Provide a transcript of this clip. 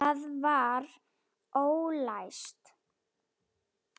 Það var ólæst.